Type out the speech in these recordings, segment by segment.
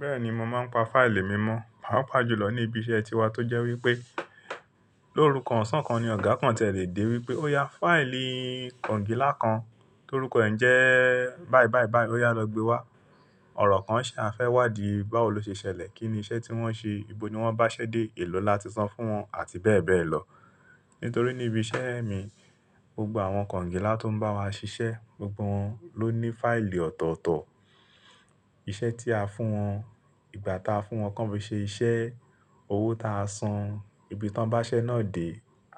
Bẹ́ẹ̀ni mo máa ń pa fáìlì mímọ̀, pàápàá jùlọ ní ibi iṣẹ́ tiwa tó jẹ́ wípé lórúkan ọ̀sán kan ni Ọ̀gá kan tẹ lè dé wípé ó ya fáìlì kongilá kan tórúkọ rẹ n jẹ́ báì báì báì ó yá lọ gbe wá. Ọ̀rọ̀ kan ṣe a fé wádìí báwo lo ṣe ṣẹlẹ̀?, kí ni iṣẹ́ tí wọ́n ṣe? Ibo ni wọ́n bá ṣẹ́ dé? Èlò láti san fún wọn? Àti bẹ́ẹ̀ bẹ́ẹ̀ lọ. Nítorí ní ibi iṣẹ́ mi, gbogbo àwọn kongilá tó ń bá wa ṣiṣẹ́, gbogbo wọn ló ní fáìlì ọ̀tọ̀ọ̀tọ̀. Iṣẹ́ tí a fún wọn, ìgbà tá a fún wọn kan fí i ṣe iṣẹ́, owó ta a san, ibi tí wọ́n bá ṣẹ́ náà dé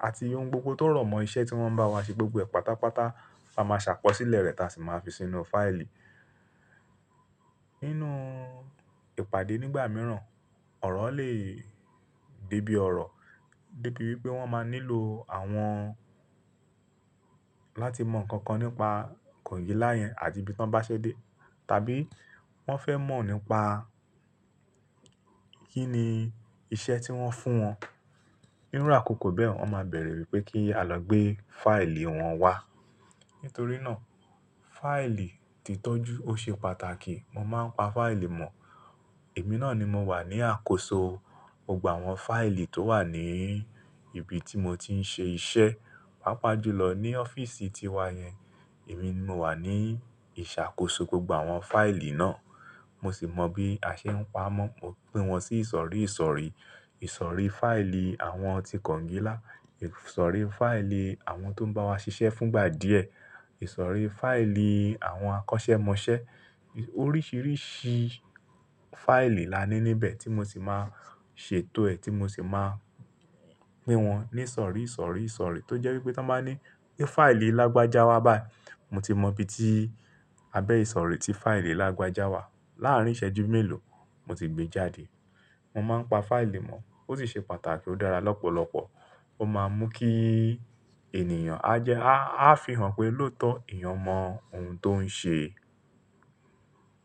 àti ohun gbogbo tó rọ̀mọ́ iṣẹ́ tí wọ́n bá wa ṣe gbogbo ẹ̀ pátápátá a máa ṣàkọsílẹ̀ rẹ̀ táa sì máa fi sínú fáìlì. Nínú ìpàdé nígbà mìíràn, ọ̀rọ̀ lè dé bíi ọ̀rọ̀, dé bíi wípé wọ́n máa nílò àwọn láti mọ̀ nkankan nípa kongilá yẹn àti ibi tí wọ́n bá ṣẹ́ dé tàbí wọ́n fẹ́ mọ̀ nípa kí ni iṣẹ́ tí wọ́n fún wọn. Nínú àkókò bẹ́ẹ̀ wọ́n máa bẹ̀rẹ̀ wípé kí a lọ gbé fáìlì wọn wá. Nítorí náà fáìlì titọ́jú ó ṣe pàtàkì. Mo máa ń pa fáìlì mọ̀. Èmi náà ni mo wà ní àkóso gbogbo àwọn fáìlì tó wà ní ibi tí mo ti ń ṣe iṣẹ́, pàápàá jùlọ ní ọ́fíìsì tiwa yẹn. Èmi ni mo wà ní ìṣàkóso gbogbo àwọn fáìlì náà. Mo sì mọ bí a ṣẹ ń pa mọ́. Mo pín wọn sí ìsọ̀rí ìsọ̀rí. Ìsọ̀rí fáìlì àwọn ti kongilá, ìsọ̀rí fáìlì àwọn tó ń bá wa ṣiṣẹ́ fúngbà díẹ̀, ìsọ̀rí fáìlì àwọn akọ́ṣẹ́mọṣẹ́. Oríṣiríṣi fáìlì la ní níbẹ̀ tí mo sì máa ṣètò ẹ̀ tí mo sì máa pín wọn ní ìsọ̀rí ìsọ̀rí ìsọ̀rí tó jẹ́ wípé tí wọ́n bá ní pé fáìlì Lágbájá wá bái mo ti mọ ibi tí abẹ́ ìsọ̀rí tí fáìlì Lágbájá wà. Láàárín ìṣẹ́jú mélòó mo ti gbé e jáde. Mo máa ń pa fáìlì mọ̀. Ó sì ṣe pàtàkì ó dára lọ́pọ̀lọpọ̀. Ó máa ń mú kí ènìyàn á jẹ́, a fihàn pé lóòótọ́ èèyàn mọ ohun tó ń ṣe.